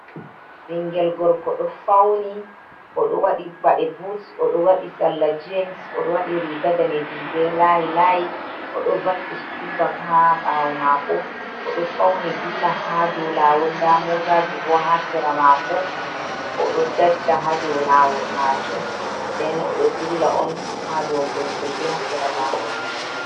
Ɓingel gorko ɗo fauni oɗo waɗi baɗe buts, oɗo waɗi salla jind oɗo waɗi riga danejuum be layi layi, oɗo vakki sukul ha bak ha ɓawo mako, oɗo fauni dilla ha dou lawol ,nda motaji bo ha sera mako oɗo dajja ha dou lawol majuum, den oɗo dilla on ha dou mbulmbuldi ha sera lawol.